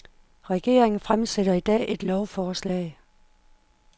Regeringen fremsætter i dag et lovforslag.